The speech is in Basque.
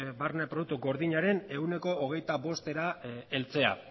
barne produktu gordinaren ehuneko hogeita bostera heltzea